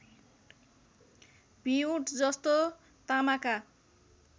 भिउँट जस्तो तामाका